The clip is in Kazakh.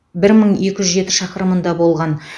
бір мың екі жүз жеті шақырымында болған